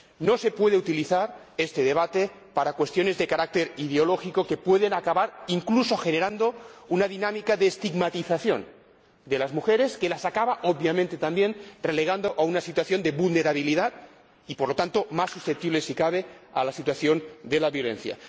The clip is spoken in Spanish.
No se puede utilizar este debate para cuestiones de carácter ideológico, que pueden acabar incluso generando una dinámica de estigmatización de las mujeres, que las acaba, obviamente también, relegando a una situación de vulnerabilidad y, por lo tanto, haciéndolas más susceptibles, si cabe, a la situación de violencia.